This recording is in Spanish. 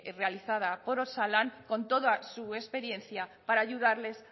realizada por osalan con toda su experiencia para ayudarles